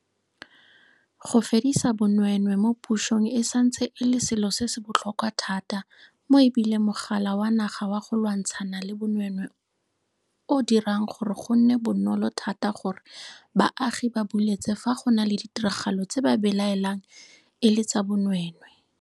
Go fedisa bonweenwee mo pusong e santse e le selo se se botlhokwa thata mo e bile Mogala wa Naga wa go Lwantshana le Bonweenwee o dirang gore go nne bonolo thata gore baagi ba buletse fa go na le ditiragalo tse ba belaelang e le tsa bonwee nwee.